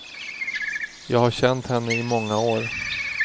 Jag har känt henne i många år.